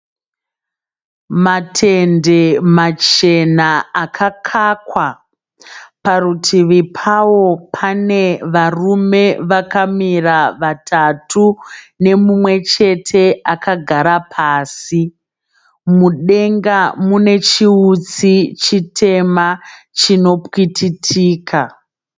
Matende machena akakakwa. Parutivi pawo pane varume vakamira vatatu nemumwechete akagara pasi. Mudenga mune chiutsi chitema chinopwititika.